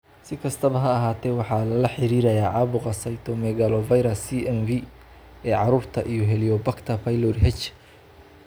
Si kastaba ha ahaatee, waxaa lala xiriiriyay caabuqa cytomegalovirus (CMV) ee carruurta iyo Heliobacter pylori (H.